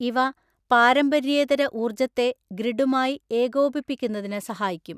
ഇവ പാരമ്പര്യേതരഊര്ജ്ജത്തെ ഗ്രിഡുമായിഏകോപിപ്പിക്കുന്നതിനു സഹായിക്കും.